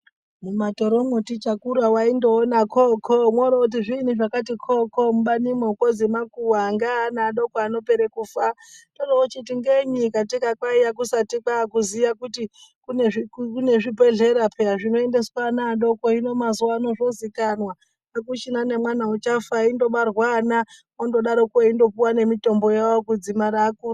Mumatoromwo tichakura waindoona koo koo mworooti zviinyi zvakati kookoo mubanimwo kwozi makuwa ngeana adoko anopera kufa toroochiti ngenyi katika kwaiya kusati kwakuziya kuti kune zvibhedhlera peya zvinoendeswa ana adoko hino mazuvaanaya zvozikanwa akuchina nemwana uchafa eindobarwa ana eindodaroko eindopuwa nemitombo yawo kudzimara akura.